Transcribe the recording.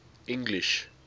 english